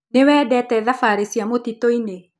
Nĩ wendete thabarĩ cia mũtitũinĩ.